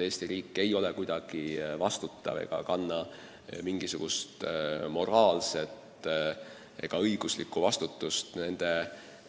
Eesti riik ei kanna mingisugust moraalset ega õiguslikku vastutust nende